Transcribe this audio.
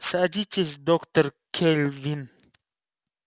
садитесь доктор кэлвин